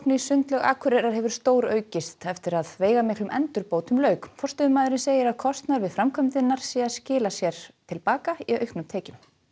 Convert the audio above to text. sundlaug Akureyrar hefur stóraukist eftir að veigamiklum endurbótum lauk forstöðumaðurinn segir að kostnaður við framkvæmdirnar sé að skila sér til baka í auknum tekjum